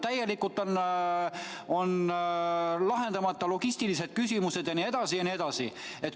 Täielikult on lahendamata logistilised küsimused jne, jne.